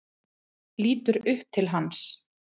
Lítur upp til hans.